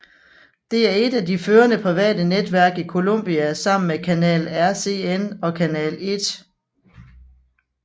Det er et af de førende private netværk i Colombia sammen med Canal RCN og Canal 1